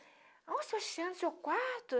Ah, Sebastiana o seu quarto?